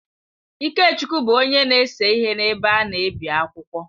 Ikechukwu bụ onye na-ese ihe n’ebe a na-ebi akwụkwọ.